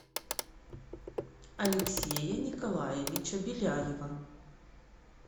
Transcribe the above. алексея николаевича беляева